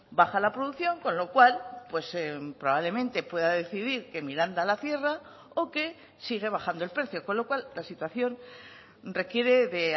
baja la producción con lo cual probablemente pueda decidir que miranda a la cierra o que sigue bajando el precio con lo cual la situación requiere de